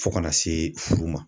Fo kana se furu ma.